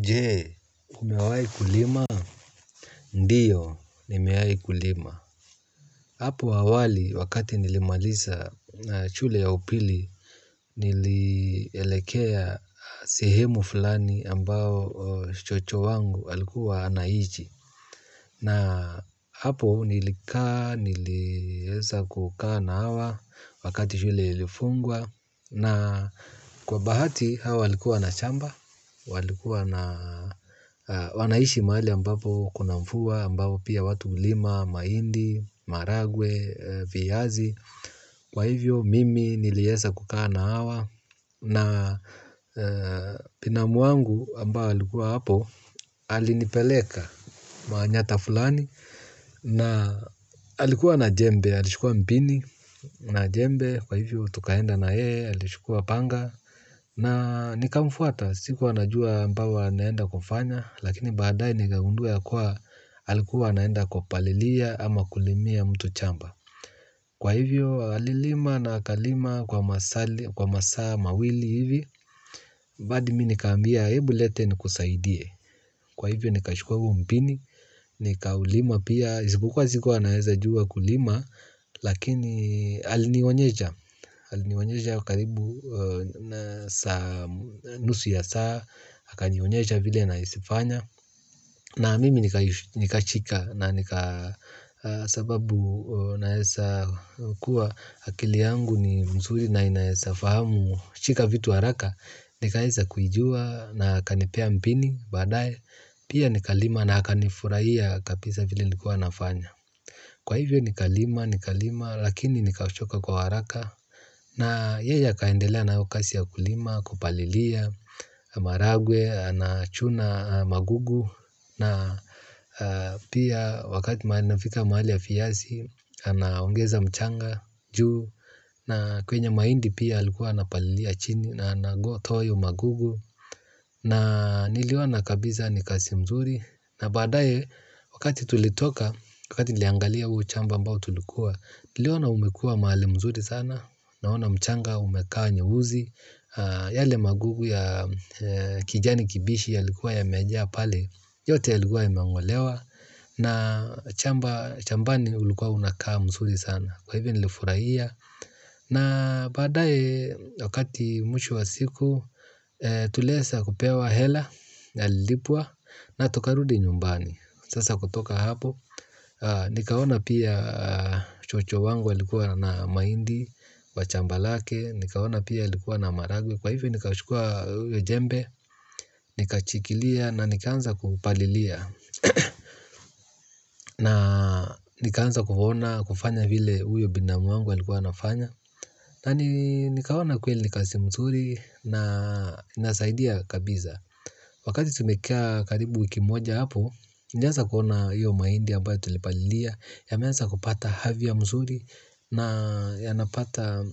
Je, umewahi kulima? Ndiyo, nimewahi kulima. Hapo awali, wakati nilimaliza shule ya upili, nilielekea sehemu fulani ambayo shosho wangu alikuwa anaishi. Na hapo nilikaa, nilieza kukaa na hawa, wakati shule ilifungwa. Na kwa bahati hawa walikuwa na shamba, wanaishi mahali ambapo kuna mvua, ambapo pia watu hulima, mahindi, maharagwe, viyazi, kwa hivyo mimi nilieza kukaa na hawa. Na binamu wangu ambao alikuwa hapo alinipeleka maanyata fulani. Na alikuwa na jembe alichukua mpini. Na jembe kwa hivyo tukaenda na yeye alichukua panga. Na nikamfuata. Sikuwa najua ambao anaenda kufanya. Lakini badaye nikangundua ya kuwa alikuwa anaenda kupalilia. Ama kulimia mtu shamba. Kwa hivyo alilima na akalima kwa masali. Kwa masaa mawili hivi hadi mimi nikaambia hebu leta ni kusaidie kwa hivyo nikachukua huo mpini nikawulima pia isipokuwa sikuwa naeza jua kulima lakini alinionyesha alinionyesha karibu nusu ya saa akanionyesha vile naezafanya na mimi nikashika na nika sababu naeza kuwa akili yangu ni mzuri na inaeza fahamu shika vitu haraka. Nikaeza kuijua na akanipea mpini badaye. Pia nikalima na akanifurahia kabisa vile nikuwa nafanya. Kwa hivyo nikalima, nikalima lakini nika choka kwa haraka. Na yeye akaendelea nayo kazi ya kulima, kupalilia. Maharagwe, anachuna magugu. Na pia wakati mahali nafika mahali ya viyazi anaongeza mchanga, juu. Na kwenye mahindi pia alikuwa ana palilia chini na anatoa magugu. Na nilioana kabisa ni kazi mzuri. Na badaye wakati tulitoka, wakati niliangalia huo shamba ambao tulikuwa niliona umekuwa mahali mzuri sana. Naona mchanga umekaa nyeuzi. Yale magugu ya kijani kibichi yalikuwa yamejaa pale. Yote yalikuwa imengolewa. Na shambani ulikuwa unakaa mzuri sana. Kwa hivi nilifurahia. Na badaye wakati mwisho wa siku tuliweza kupewa hela, yalipwa na tukarudi nyumbani. Sasa kutoka hapo, nikaona pia shosho wangu alikuwa na mahindi, kwa shamba lake, nikaona pia walikuwa na maharagwe. Kwa hivyo nikawachukua uyo jembe, nikashikilia na nikaanza kupalilia. Na nikaanza kuona kufanya vile huyo binamu wangu alikuwa anafanya. Na nikaoana kweli ni kazi mzuri na inasaidia kabisa. Wakati tumekaa karibu wiki moja hapo. Nilianza kuona hiyo mahindi ambayo tulipalilia. Yameanza kupata afya mzuri. Na yanapata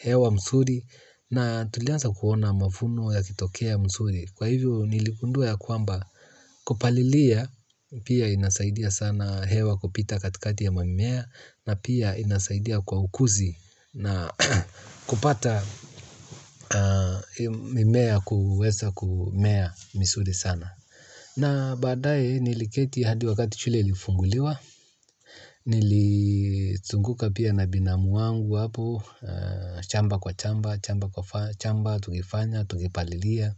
hewa mzuri. Na tulianza kuona mavuno yakitokea mzuri. Kwa hivyo nilingundua ya kwamba kupalilia pia inasaidia sana hewa kupita katikati ya mamimea. Na pia inasaidia kwa ukuzi na kupata mimea kuweza kumea mizuri sana. Na badaye niliketi hadi wakati shule ilifunguliwa. Nilinzunguka pia na binamu wangu hapo shamba kwa shamba, shamba kwa shamba, tukifanya, tukipalilia.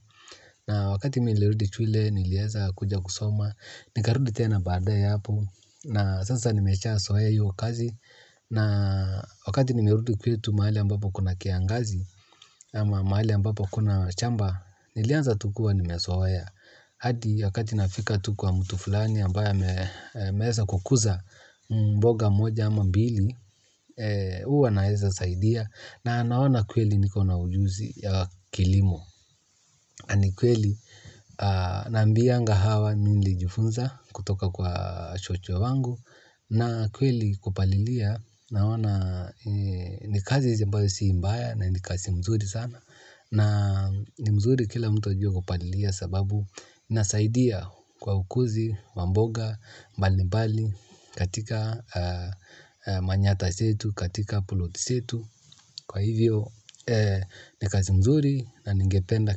Na wakati mimi nilirudi shule, nilieza kuja kusoma. Nikarudi tena badaye hapo. Na sasa nimesha zoea hio kazi na wakati nimerudi kwetu mahali ambapo kuna kiangazi ama mahali ambapo kuna shamba nilianza tu kuwa nimezoea hadi wakati nafika tu kuwa mtu fulani ambaye ameeza kukuza mboga moja ama mbili huwa naeza saidia na anaona kweli niko na ujuzi ya kilimo ni kweli naambianga hawa mimi nilijufunza kutoka kwa shosho wangu na kweli kupalilia. Naona ni kazi ambayo si mbaya na ni kazi mzuri sana. Na ni mzuri kila mtu ajue kupalilia sababu inasaidia kwa ukuzi, wa mboga, mbali mbali katika manyata zetu katika plot zetu. Kwa hivyo ni kazi mzuri na ningependa kila mtu.